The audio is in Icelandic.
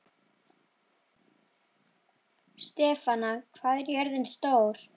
Stefana, hvað er jörðin stór?